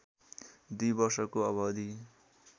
दुई वर्षको अवधि